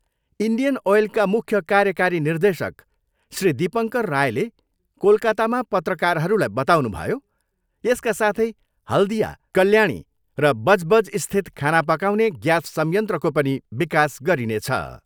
Indian ओयलका मुख्य कार्यकारी निर्देशक श्री दीपङ्कर रायले कोलकातामा पत्रकारहरूलाई बताउनुभयो, यसका साथै हाल्दिया, कल्याणी र बजबजस्थित खाना पकाउने ग्यास संयन्त्रको पनि विकास गरिनेछ।